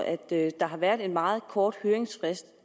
at der har været en meget kort høringsfrist